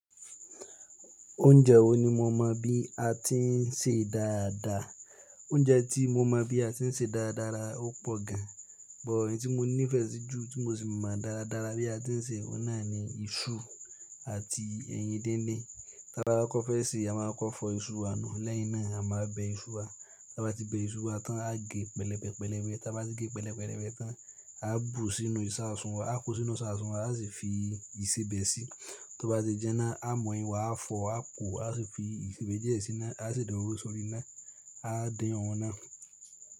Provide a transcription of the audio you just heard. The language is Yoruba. Oúnjẹ wo ni mo mọ bí a ti ń sèé rdáadáa? Oúnjẹ tí mo mọ̀ bí a ti ń se dáradára ó pọ̀ gan, bọ̀ èyí tí mo nífẹ̀ẹ́ sí jù tí mo sì mọ̀ dáradára bí a ti ń se, òun náà ni iṣu àti ẹyin díndín. Táa bá kọ́kọ́ fẹ́ sèé, a máa kọ́kọ́ fọ iṣu wa nù, lẹ́yìn náà a máa bẹ iṣu wa. Tí a bá ti bẹ iṣu wa tán, a gé pẹlẹbẹ pẹlẹbẹ Tí a bá ti gé pẹlẹbẹrẹbẹ tán, a bù sínú ìsaasùn wá, a kó sínú ìsaasùn wá, a sì fi ìsebẹ̀ si. Tí ó bá ti jiná, a mu ẹyin wà a fọ̀, a pòó, a sì fi ìsebẹ̀ díẹ̀ si ná, a sì da òróró sórí iná, a dín òun náà.